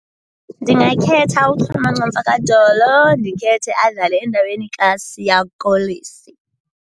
Ndingakhetha uChulumanco Mfakadolo ndikhethe adlale endaweni kaSiya Kolisi.